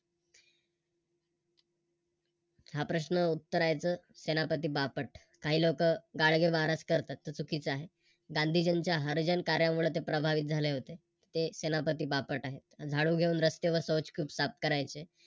हा प्रश्न उत्तर आहे याच सेनापती बापट. काही लोक गाडगे महाराज तो चुकीचा आहे. गांधीजींच्या हरिजन कार्यामुळे प्रभावित झाले होते. ते सेनापती बापट आहे. झाडू घेऊन रस्त्यावर शौच साफ करायचे.